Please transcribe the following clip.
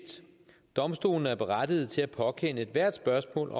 domstolene er berettigede til at påkende ethvert spørgsmål